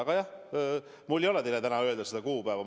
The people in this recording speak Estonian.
Aga jah, mul ei ole teile täna öelda seda kuupäeva.